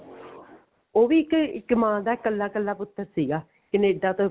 ਉਹ ਵੀ ਇੱਕ ਇੱਕ ਮਾਂ ਦਾ ਕੱਲਾ ਕੱਲਾ ਪੁੱਤ ਸੀਗਾ ਕਨੇਡਾ ਤੋਂ